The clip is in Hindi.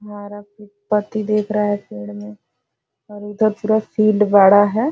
हमारा पति देख रहा है पेड़ में और इधर पूरा फील्ड बड़ा है ।